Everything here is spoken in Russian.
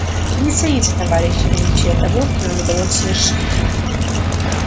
вы не цените товарищи величие того что нам удалось совершить